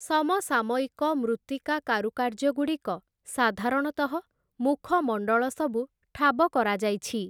ସମସାମୟିକ ମୃତ୍ତିକା କାରୁକାର୍ଯ୍ୟଗୁଡ଼ିକ ସାଧାରଣତଃ, ମୁଖମଣ୍ଡଳ ସବୁ ଠାବ କରାଯାଇଛି ।